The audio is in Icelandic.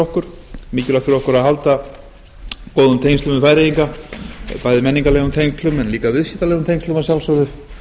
okkur mikilvægt fyrir okkur að halda góðum tengslum við færeyinga bæði menningarlegum tengslum en líka viðskiptalegum tengslum að sjálfsögðu